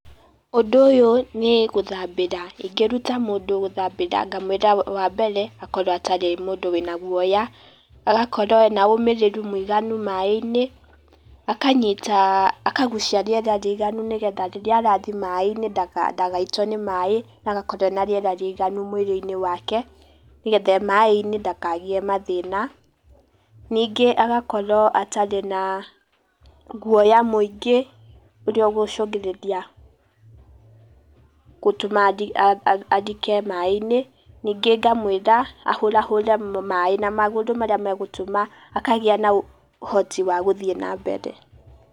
Ũdũ ũyũ nĩ gũthabĩra, ingĩruta mũndũ gũthabĩra ngamwĩra, wa mbere akowro atarĩ mũndũ wiĩna guoya, agakowro ena ũmĩrĩru mũiganu maaĩnĩ, akanyita, akagucia rĩera rĩiganu nĩgetha riria arathie maaĩnĩ dagaitwo nĩ maaĩ, agakorwo ena rĩera rĩiganu mwĩriĩini wake nĩgetha ee maaĩ-inĩ ndakagĩe mathĩna, ningĩ agakorwo atarĩ na guoya mũingĩ ũria ũngũcungĩrĩria gũtuma arike maaĩ-inĩ, ningĩ ngamwĩra ahũrahure maaĩ na magũrũ marĩa magũtuma akagĩa na ũhoti wa gũthiĩ na mbere.